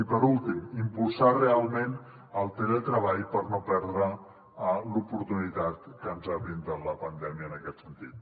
i per últim impulsar realment el teletreball per no perdre l’oportunitat que ens ha brindat la pandèmia en aquest sentit